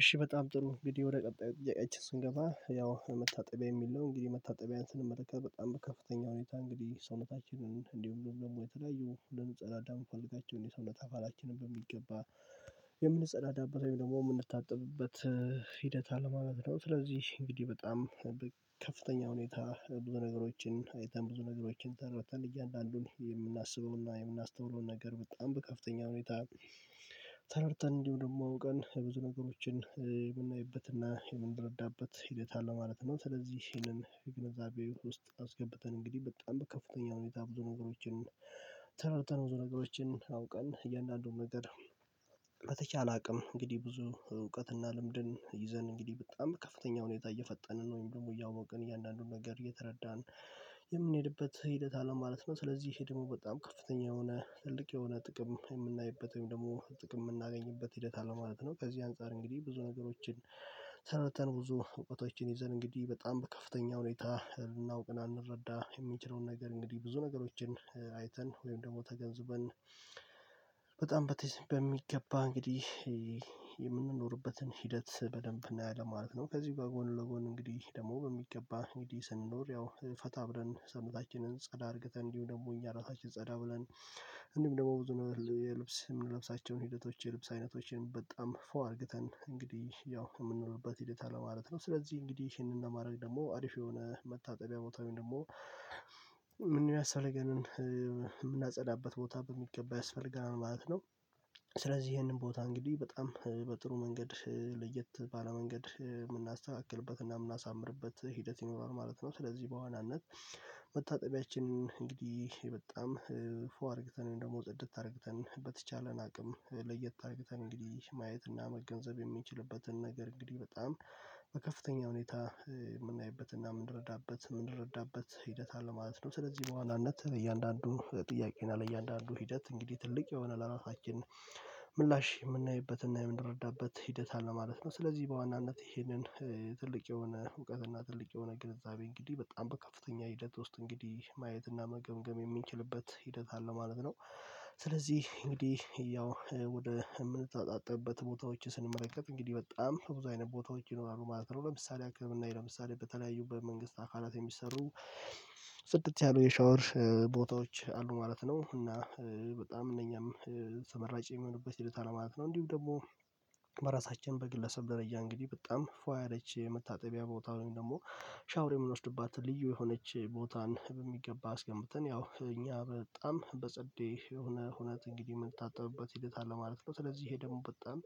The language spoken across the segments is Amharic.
እሺ በጣም ጥሩ እንግዲህ ወደ ቀጣዩ ጥያቄአችን ስንገባ ያው የመታጠቢያ የሚል ነው እንግዲህ መታጠቢያ ስንመለከት በጣም ከፍተኛ ሁኔታ እንግዲህ ሰውነታችንን እንዲሁም ደግሞ የተለያየው እንድንጸዳዳ የምፈልጋቸውን የሰውነት አካላችንን በሚገባ የምንጸዳዳበት ወይም ደግሞ የምንታጠብበት ሂደት አለማለት ነው። ስለዚህ እንግዲህ በጣም ከፍተኛ ሁኔታ ብዙ ነገሮችን አይተን ብዙ ነገሮችን ተረድተን እያለ አሉን የምናስበውንና የምናስተውለው ነገር በጣም በከፍተኛ ሁኔታ ተረድተን እንዲሁ ደግሞ አውቀን ብዙ ነገሮችን የምናይበትና የምንረዳበት ሂደት አለ ማለት ነው። ስለዚህ ይሄንን የግንዛቤ ውስጥ አስገብተን እንግዲህ በጣም ከፍተኛ ሁኔታ ብዙ ነገሮችን ተረድተን ብዙ ነገሮችን አውቀን እያንዳንዱን ነገር በተቻለ አቅም እንግዲህ ብዙ እውቀትና ልምድን ይዘን እንግዲህ በጣም ከፍተኛ ሁኔታ እየፈጠንን ወይም ደግሞ እያወቅን እያንዳንዱን ነገር እየተረዳን የምንሄድበት ሂደት አለ ማለት ነው። ስለዚህ ይሄ ደግሞ በጣም ከፍተኛ የሆነ ትልቅ የሆነ ጥቅም የምናይበት ወይም ደግሞ ጥቅም የምናገኝበት ሂደት አለ ማለት ነው። ከዚህ አንፃር እንግዲህ ብዙ ነገሮችን ተነተን ብዙ እውቀቶችን ይዘን እንግዲህ በጣም በከፍተኛ ሁኔታ እናውቅና እንረዳ የምንችለውን ነገር እንግዲህ ብዙ ነገሮችን አይተን ወይም ደግሞ ተገንዝበን በጣም በሚገባ እንግዲህ የምንኖርበትን ሂደት በደንብ እናያለን ማለት ነው። ከዚህ ጋር ጎን ለጎን እንግዲህ ደግሞ በሚገባ እንግዲህ ስንኖር ያው ፈታ ብለን ሰውነታችንን ጸዳ አድርገን እንዲሁ ደግሞ እኛ ራሳችን ጸዳ ብለን እንዲውም ደግሞ ብዙ ነው የልብስ የምንለብሳቸውን ሂደቶች የልብስ አይነቶችን በጣም ፎ አርግተን እንግዲህ ያው የምንለውበት ሂደት አለ ማለት ነው። ስለዚህ እንግዲህ ይሄንን ለማድረግ ደግሞ አሪፍ የሆነ መታጠቢያ ቦታውን ደግሞ ያስፈልገንን የምናጸዳበት ቦታ በሚገባ ያስፈልገናል ማለት ነው። ስለዚህ ይሄንን ቦታ እንግዲህ በጣም በጥሩ መንገድ ለየት ባለ መንገድ የምናስተካክልበት እና የምናሳምርበት ሂደት ይኖራል ማለት ነው። ስለዚህ በዋናነት መታጠቢያችን እንግዲህ በጣም ፉ አድርግተን ደግሞ ጽድት አድርግተን በተቻለን አቅም ለየት አድርግተን እንግዲህ ማየት እና መገንዘብ የምንችልበትን ነገር እንግዲህ በጣም ከፍተኛ ሁኔታ ምናይበትና ምንረዳበት ምንረዳበት ሂደት አለ ማለት ነው ስለዚህ በዋናነት እያንዳንዱን ጥያቄ እና ለእያንዳንዱ ሂደት እንግዲህ ትልቅ የሆነ ለራሳችን ምላሽ የምናይበትና የምንረዳበት ሂደት አለ ማለት ነው። ስለዚህ በዋናነት ይሄንን ትልቅ የሆነ እውቀትና ትልቅ የሆነ ግንዛቤ እንግዲህ በጣም በከፍተኛ ሂደት ውስጥ እንግዲህ ማየትና መገምገም የምንችልበት ሂደት አለ ማለት ነው። ስለዚህ እንግዲህ ያው ወደ የምንተጣጠብበት ቦታዎች ስንመለከት እንግዲህ በጣም ብዙ አይነት ቦታዎች ይኖራሉ ማለት ነው። ለምሳሌ ለምሳሌ በተለያዩበት መንግስት አካላት የሚሰሩ ጽድት ያሉ የሻወር ቦታዎች አሉ ማለት ነው እና በጣም እነኛም ተመራጭ የሚሆኑበት ሂደት አለ። ነው እንዲሁ ደግሞ በራሳችን በግለሰብ ደረጃ እንግዲህ በጣም ፋ ያለች መታጠቢያ ቦታ ወይም ደግሞ ሻወር የምንወስድባት ልዩ የሆነች ቦታን በሚገባ አስገምተን ያው እኛ በጣም በጸዴ የሆነ ሁኔታ እንግዲህ የምታጠብበት ሂደት አለ ማለት ነው። ስለዚህ ይሄ ደግሞ በጣም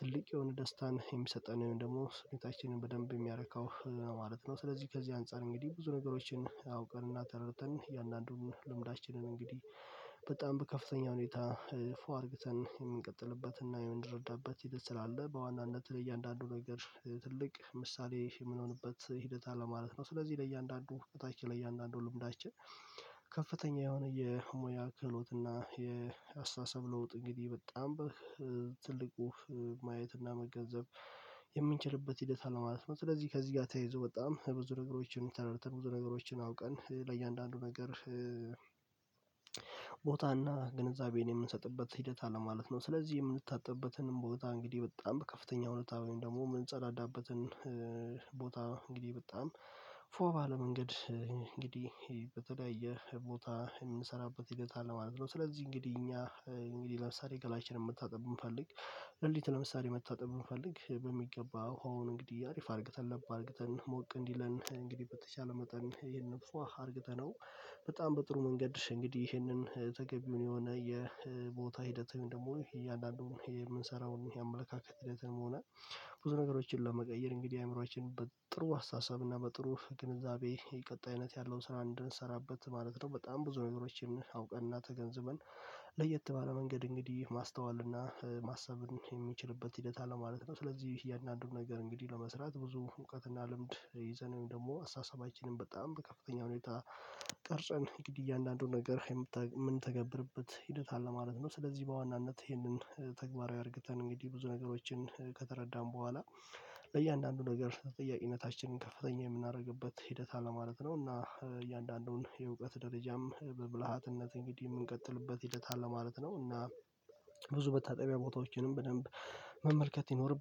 ትልቅ የሆነ ደስታን የሚሰጠን ወይም ደግሞ ስሜታችንን በደንብ የሚያረካው ማለት ነው ስለዚህ ከዚህ አንፃር እንግዲህ ብዙ ነገሮችን አውቀን እና ተረድተን እያንዳንዱን ልምዳችንን እንግዲህ በጣም በከፍተኛ ሁኔታ ፉ አድርግተን የምንቀጥልበትና የምንረዳበት ሂደት ስላለ በዋናነት ላይ እያንዳንዱ ነገር ትልቅ ምሳሌ የምንሆንበት ሂደት አለ ማለት ነው። ስለዚህ ለእያንዳንዱ በታች ለእያንዳንዱ ልምዳችን ከፍተኛ የሆነ የሙያ ክህሎት እና የአስተሳሰብ ለውጥ እንግዲህ በጣም ትልቁ ማየትና መገንዘብ የምንችልበት ሂደት አለ ማለት ነው ስለዚህ ከዚህ ጋር ተያይዞ በጣም ብዙ ነገሮችን ተረድተን ብዙ ነገሮችን አውቀን ለእያንዳንዱ ነገር ቦታና ግንዛቤን የምንሰጥበት ሂደት አለማለት ነው ስለዚህ የምንታጠብበትን ቦታ እንግዲህ በጣም በከፍተኛ ሁኔታ ወይም ደግሞ የምንጸዳዳበትን ቦታ እንግዲህ በጣም ፋ ባለ መንገድ እንግዲህ በተለያየ ቦታ የምንሰራበት ሂደት አለ ማለት ነው። ስለዚህ እንግዲህ እኛ እንግዲህ ለምሳሌ ገላችንን መታጠብ ብንፈልግ ለሊት ለምሳሌ መታጠብ ብንፈልግ በሚገባ ውሃውን እንግዲህ አሪፍ አድርግተን ለብ አድርግተን ሞቅ እንዲለን እንግዲህ በተቻለ መጠን ይሄን ፋ አርግተነው በጣም በጥሩ መንገድ እንግዲህ ይሄንን ተገቢ የሆነ የቦታ ሂደት ደግሞ እያንዳንዱን የምንሰራውን የአመለካከት ሂደትንም ሆነ ብዙ ነገሮችን ለመቀየር እንግዲህ አእምሮአችን በጥሩ አስተሳሰብ እና በጥሩ ግንዛቤ የቀጣይነት ያለውን ስራ እንድንሰራበት ማለት ነው በጣም ብዙ ነገሮችን አውቀን እና ተገንዝበን ለየት ባለ መንገድ እንግዲህ ማስተዋል እና ማሰብን የምችልበት ሂደት አለ ማለት ነው። ስለዚህ እያንዳንዱን ነገር እንግዲህ ለመስራት ብዙ እውቀትና ልምድ ይዘን ደግሞ አስተሳሰባችንን በጣም ከፍተኛ ሁኔታ እንግዲህ እያንዳንዱን ነገር ምንተገብርበት ሂደት አለ ማለት ነው ስለዚህ በዋናነት ይህንን ተግባራዊ አድርገን እንግዲህ ብዙ ነገሮችን ከተረዳን በኋላ ለእያንዳንዱ ነገር ተጠያቂነታችንን ከፍተኛ የምናደርግበት ሂደት አለ ማለት ነው። እና እያንዳንዱን የእውቀት ደረጃም በብልሃትነት እንግዲህ ምንቀጥልበት ሂደት አለ ማለት ነው። እና ብዙ መታጠቢያ ቦታዎችንም በደንብ መመልከት ይኖርብና።